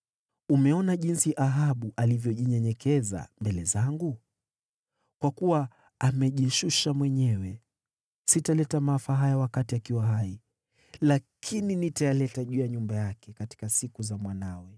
“Umeona jinsi Ahabu alivyojinyenyekeza mbele zangu? Kwa kuwa amejishusha mwenyewe, sitaleta maafa haya wakati akiwa hai, lakini nitayaleta juu ya nyumba yake katika siku za mwanawe.”